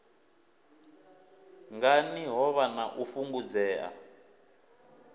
ngani hovha na u fhungudzea